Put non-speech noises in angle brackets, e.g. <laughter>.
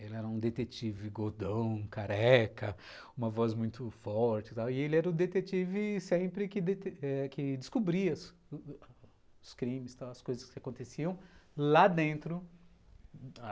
Ele era um detetive gordão, careca, uma uma voz muito forte, sabe, e ele era o detetive que sempre <unintelligible> que descobria os crimes tal, as coisas que aconteciam lá dentro